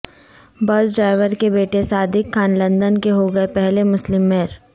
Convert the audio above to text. بس ڈرائیور کے بیٹے صادق خان لندن کے ہوں گے پہلے مسلم میئر